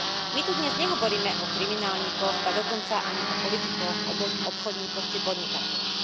My tu dnes nehovoríme o kriminálnikoch, ba dokonca ani o politikoch, obchodníkoch či podnikateľoch.